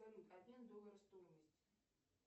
салют обмен доллара стоимость